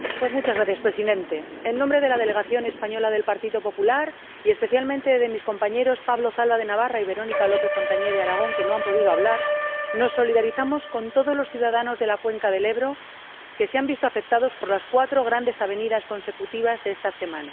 Señor Presidente, en nombre de la delegación española del Partido Popular, y especialmente de mis compañeros Pablo Zalba, de Navarra, y Verónica López Fontagné, de Aragón, que no han podido intervenir, nos solidarizamos con todos los ciudadanos de la cuenca del Ebro que se han visto afectados por las cuatro grandes avenidas consecutivas de estas semanas.